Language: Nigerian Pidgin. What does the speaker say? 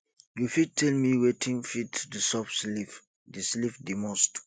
you fit tell me wetin fit disturb sleep di sleep di most